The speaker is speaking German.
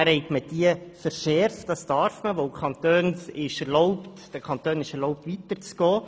Diese habe man aber verschärft, was man darf, weil es den Kantonen erlaubt ist, weiterzugehen.